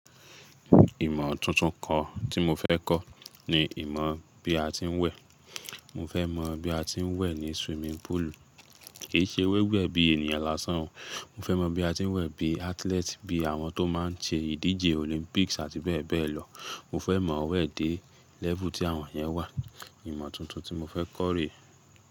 Ìmọ̀ tuntun kan tí mo fẹ́ kọ́ ni ìmọ̀ bí a ti ń wẹ̀. Mo fẹ́ mọ̀ bí a ti ń wẹ̀ ní swimming pool. Kì í ṣe wíwẹ̀ bí ènìyàn lásán o. Mo fẹ́ mọ̀ bí a ti ń wẹ̀ bí athlete, bí àwọn tó má n ṣe ìdíje Olympics àti bẹ́ẹ̀ bẹ́ẹ̀ lọ. Mo fẹ́ mọ̀ wẹ̀ dé level tí àwọn yẹn wà. Ìmọ̀ tuntun tí mo fẹ́ kọ́ rè e.